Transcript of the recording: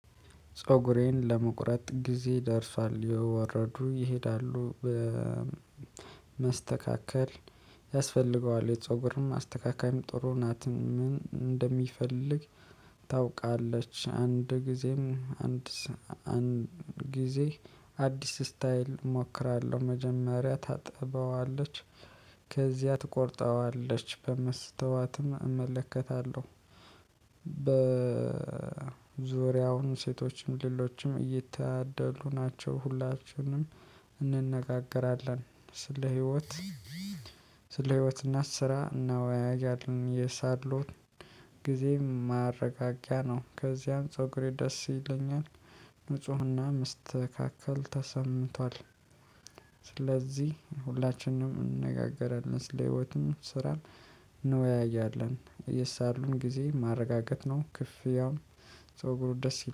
ፀጉሬን ለመቁረጥ ጊዜ ደርሷል የወረዱ ይሄዳሉ በመስተካከል ያስፈልገዋል የፀጉርም አስተካካይም ጥሩ ናት ምን እንደሚፈልግ ታውቃለች። አንድ ጊዜም አንድ አንድ ጊዜ አዲስ ስታይል እሞክራለሁ። መጀመሪያ ታጥበዋለች ከዚያ ትቆርጠዋለች በመስተዋትም እመለከታለሁ። በዙሪያውን ሴቶችም ሌሎችም እየታደሉ ናቸው። ሁላችንም እንነጋገራለን ስለ ህይወት ስለ ህይወት እና ስራ እናወያያለን። የሳሎት ጊዜ ማረጋጊያ ነው። ከዚያም ፀጉሬ ደስ ይለኛል ንፁህና መስተካከል ተሰምቷል። ስለዚህ ሁላችንም እንነጋገራለን ስለ ህይወትም ስራም እንወያያለን። የሳሎን ጊዜ ማረጋገጥ ነው። ክፍያውም ጸጉሩ ደስ ይላል